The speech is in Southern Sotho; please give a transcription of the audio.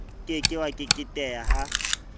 ke ke wa keketeha ha